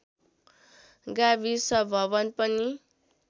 गाविस भवन पनि